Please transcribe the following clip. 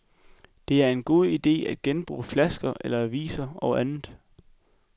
Det er en god ide at genbruge flasker eller aviser og andet.